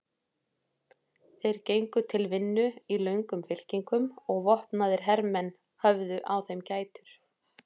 Þeir gengu til vinnu í löngum fylkingum og vopnaðir hermenn höfðu á þeim gætur.